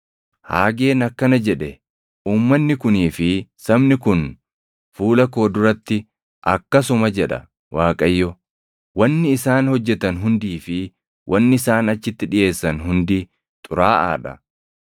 Haageen akkana jedhe; “ ‘Uummanni kunii fi sabni kun fuula koo duratti akkasuma’ jedha Waaqayyo. ‘Wanni isaan hojjetan hundii fi wanni isaan achitti dhiʼeessan hundi xuraaʼaa dha.